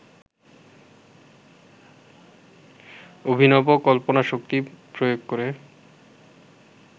অভিনব কল্পনাশক্তি প্রয়োগ করে